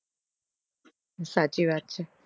સાચી વાત છે